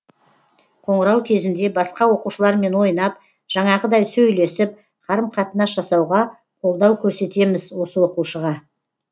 қоңырау кезінде басқа оқушылармен ойнап жанағыдай сөйлесіп қарым қатынас жасауға қолдау көрсетеміз осы оқушыға